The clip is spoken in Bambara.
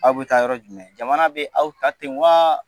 A bɛ taa yɔrɔ jumɛn jamana bɛ aw ta ten waa